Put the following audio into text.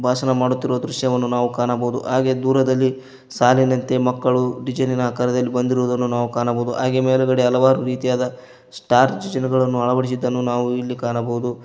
ಭಾಷಣ ಮಾಡುತ್ತಿರುವ ದೃಶ್ಯವನ್ನು ಕಾಣಬಹುದು ಹಾಗೆ ದೂರದಲ್ಲಿ ಸಾಲಿನಂತೆ ಮಕ್ಕಳು ಡಿಸೈನ್ ನಿನ ಆಕಾರದಲ್ಲಿ ಬಂದಿರುವುದನ್ನು ನಾವು ಕಾಣಬಹುದು ಹಾಗೆ ಮೇಲುಗಡೆ ಹಲವಾರು ರೀತಿಯಾದ ಸ್ಟಾರ್ ಚಿತ್ರಗಳನ್ನು ಅಳವಡಿಸಿದನ್ನು ನಾವು ಇಲ್ಲಿ ಕಾಣಬಹುದು.